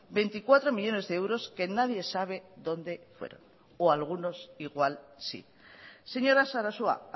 veinticuatro millónes de euros que nadie sabe donde fueron o algunos igual sí señora sarasua